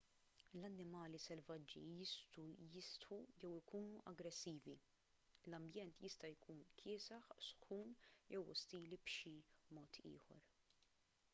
l-annimali selvaġġi jistgħu jistħu jew ikunu aggressivi l-ambjent jista' jkun kiesaħ sħun jew ostili b'xi mod ieħor